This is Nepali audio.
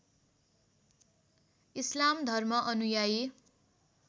इस्लाम धर्म अनुयायी